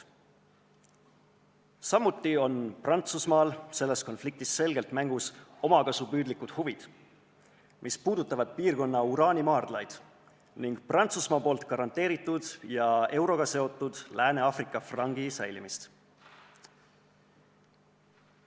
Samuti on Prantsusmaal selles konfliktis selgelt mängus omakasupüüdlikud huvid, mis on seotud piirkonna uraanimaardlatega ning Prantsusmaa garanteeritud ja euroga seotud Lääne-Aafrika frangi säilimisega.